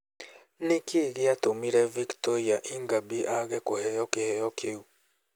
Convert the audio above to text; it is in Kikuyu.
Nĩ kĩĩ gĩatũmire Victoire Ingabire aage kũheo kĩheo kĩu?